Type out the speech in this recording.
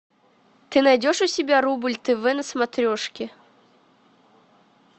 ты найдешь у себя рубль тв на смотрешке